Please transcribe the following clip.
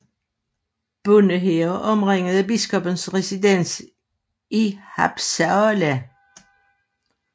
Bondehære omringede biskoppens residens i Haapsalu